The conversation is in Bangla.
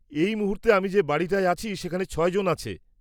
এই মুহূর্তে আমি যে বাড়িটায় আছি সেখানে ছয়জন আছে।